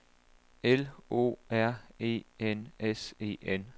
L O R E N S E N